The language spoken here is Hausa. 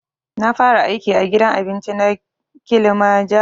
Na fara aiki a gidan abinci na kilimajaro